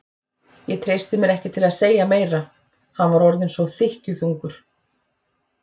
Ég treysti mér ekki til að segja meira, hann var orðinn svo þykkjuþungur.